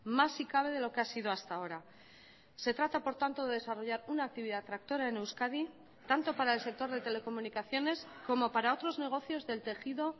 más si cabe de lo que ha sido hasta ahora se trata por tanto de desarrollar una actividad tractora en euskadi tanto para el sector de telecomunicaciones como para otros negocios del tejido